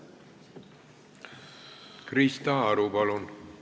Krista Aru, palun!